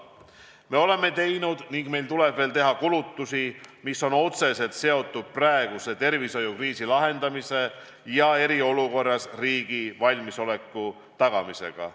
Me oleme juba teinud ja meil tuleb teha veelgi kulutusi, mis on otseselt seotud praeguse tervishoiukriisi lahendamisega ja eriolukorras riigi valmisoleku tagamisega.